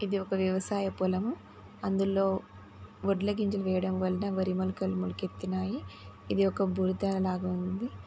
ఇది ఒక వ్యవసాయ పొలము అందులో వడ్ల గింజలు వేయడం వలన వరి మొలకలు మొలకెత్తినాయి ఇది ఒక బురదలాగా ఉంది.